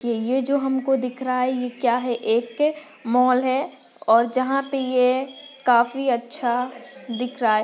ये जो हम को दिख रहा है ये क्या है एक मॉल है और जहा पे ये काफी अच्छा दिख रहा है।